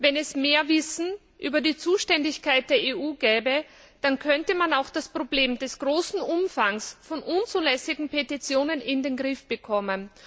Wenn es mehr Wissen über die Zuständigkeit der EU gäbe, dann könnte man auch das Problem des großen Umfangs von unzulässigen Petitionen in den Griff bekommen.